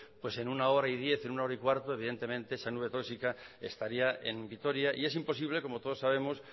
pues en una hora y diez o en una hora y cuarto evidentemente esa nube tóxica estaría en vitoria y es imposible como todos sabemos